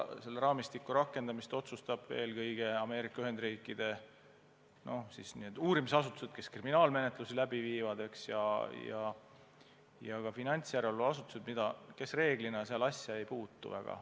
Seda otsustavad eelkõige Ameerika Ühendriikide uurimisasutused, kes kriminaalmenetlusi läbi viivad, ja ka finantsjärelevalveasutused, kes reeglina seal asja väga ei puutu.